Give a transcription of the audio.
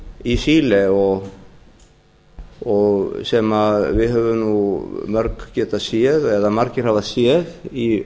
í chile sem við höfum mörg getað séð eða margir hafa séð í